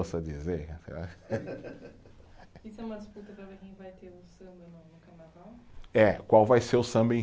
ça dizer. Isso é uma disputa para ver quem vai ter o samba no no carnaval? É, qual vai ser o samba